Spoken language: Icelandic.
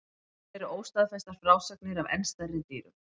Til eru óstaðfestar frásagnir af enn stærri dýrum.